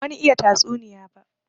Ban wani iya tatsuniya ba.